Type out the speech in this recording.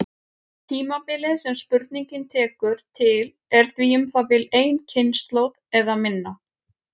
Tímabilið sem spurningin tekur til er því um það bil ein kynslóð eða minna.